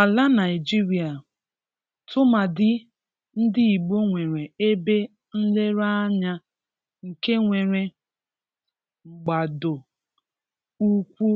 Álà Naịjíríà, tụmadị ndị Ìgbò nwere ebe nlereanya nke nwere mgbàdo ụkwụ